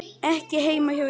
Ekki heima hjá ykkur.